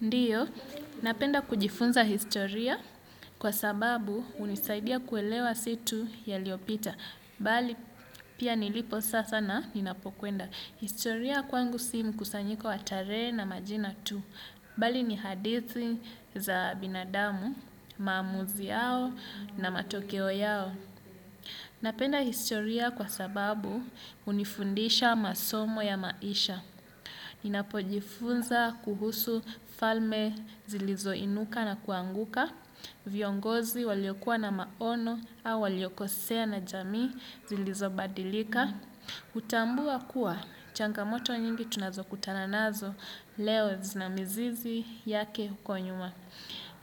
Ndiyo, napenda kujifunza historia, kwa sababu hunisaidia kuelewa si tu yaliopita. Bali, pia nilipo sasa na ninapokwenda. Historia kwangu si mkusanyiko wa tarehe na majina tu. Bali, ni hadithi za binadamu, maamuzi yao na matokeo yao. Napenda historia kwa sababu unifundisha masomo ya maisha. Ninapojifunza kuhusu falme zilizoinuka na kuanguka, viongozi waliokua na maono au waliokosea na jamii zilizobadilika. Hutambua kuwa changamoto nyingi tunazokutana nazo leo zina mizizi yake huko nyuma.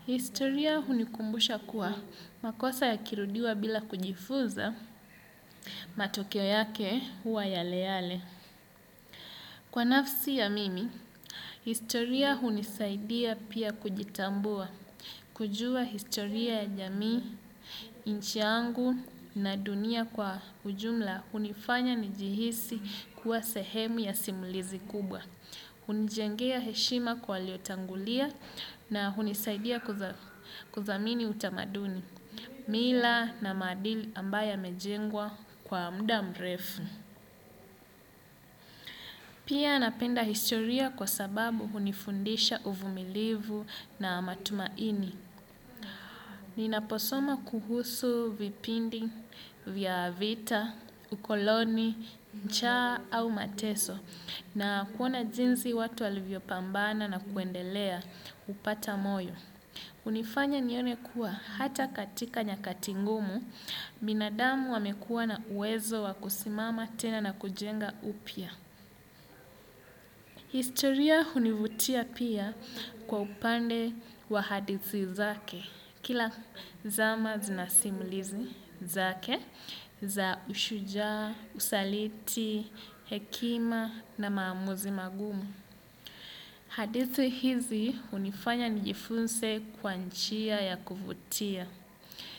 Historia hunikumbusha kuwa, makosa yakirudiwa bila kujifunza, matokeo yake huwa yale yale. Kwa nafsi ya mimi, historia hunisaidia pia kujitambua, kujua historia ya jamii, nchi yangu na dunia kwa ujumla hunifanya nijihisi kuwa sehemu ya simulizi kubwa. Hunijengea heshima kwa waliotangulia na hunisaidia kuthamini utamaduni, mila na maadili ambayo yamejengwa kwa mda mrefu. Pia napenda historia kwa sababu hunifundisha uvumilivu na matumaini. Ninaposoma kuhusu vipindi vya vita, ukoloni, ncha au mateso na kuona jinsi watu walivyopambana na kuendelea kupata moyo. Hunifanya nione kuwa hata katika nyakati ngumu, binadamu wamekuwa na uwezo wa kusimama tena na kujenga upya. Historia hunivutia pia kwa upande wa hadithi zake, kila zama zina simulizi zake za ushujaa, usaliti, hekima na maamuzi magumu. Hadithi hizi hunifanya nijifunse kwa njia ya kuvutia,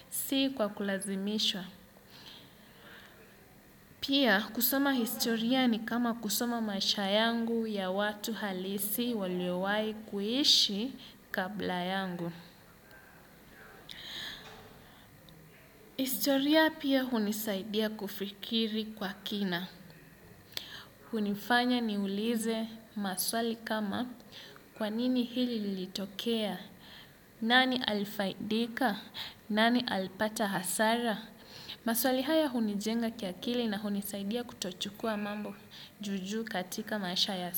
si kwa kulazimisha. Pia kusoma historia ni kama kusoma maisha yangu ya watu halisi waliowahi kuishi kabla yangu. Historia pia hunisaidia kufikiri kwa kina. Hunifanya niulize maswali kama, kwa nini hili litokea? Nani alifaidika? Nani alipata hasara? Maswali haya hunijenga kiakili na hunisaidia kutochukua mambo juu juu katika maisha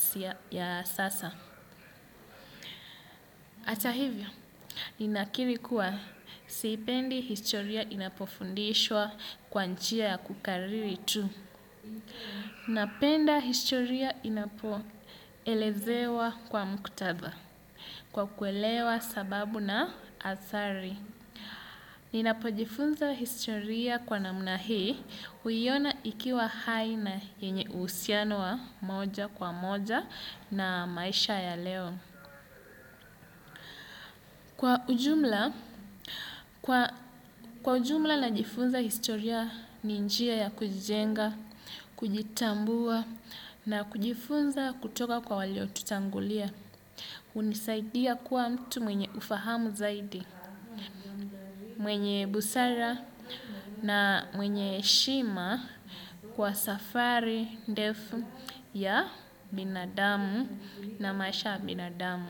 ya sasa. Hata hivyo, ninakiri kuwa siipendi historia inapofundishwa kwa njia ya kukariri tu. Napenda historia inapoelezewa kwa muktadha kwa kuelewa sababu na adhari. Ninapojifunza historia kwa namna hii, huiona ikiwa hai na yenye uhusiano wa moja kwa moja na maisha ya leo. Kwa ujumla najifunza historia ni njia ya kujijenga, kujitambua na kujifunza kutoka kwa walio tutangulia. Hunisaidia kuwa mtu mwenye ufahamu zaidi. Mwenye busara na mwenye heshima kwa safari ndefu ya binadamu na maisha ya binadamu.